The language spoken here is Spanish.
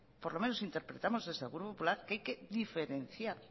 por lo menos interpretamos desde el grupo popular que hay que diferenciar